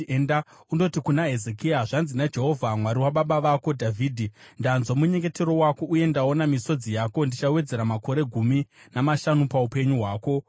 “Enda undoti kuna Hezekia, ‘Zvanzi naJehovha, Mwari wababa vako Dhavhidhi: Ndanzwa munyengetero wako uye ndaona misodzi yako; ndichawedzera makore gumi namashanu paupenyu hwako.